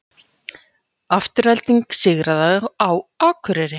Afturelding sigraði á Akureyri